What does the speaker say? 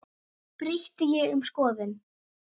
Breytti ég um skoðun?